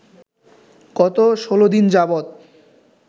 গত ১৬ দিন যাবত